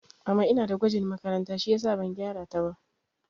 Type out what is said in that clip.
Mama ina da gwajin makaranta shiyasa ban gyara ta ba